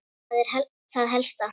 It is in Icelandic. Það er það helsta.